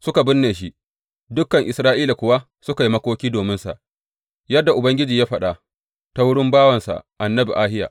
Suka binne shi, dukan Isra’ila kuwa suka yi makoki dominsa, yadda Ubangiji ya faɗa ta wurin bawansa annabi Ahiya.